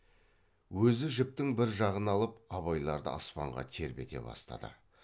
өзі жіптің бір жағын алып абайларды аспанға тербете бастады